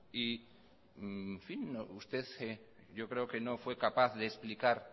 y en fin usted yo creo que no fue capaz de explicar